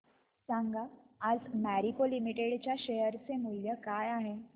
सांगा आज मॅरिको लिमिटेड च्या शेअर चे मूल्य काय आहे